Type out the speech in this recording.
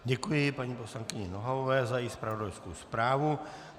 Děkuji paní poslankyni Nohavové za její zpravodajskou zprávu.